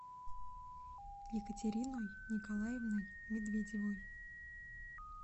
екатериной николаевной медведевой